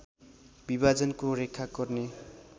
विभाजनको रेखा कोर्ने